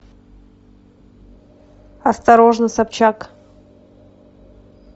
осторожно собчак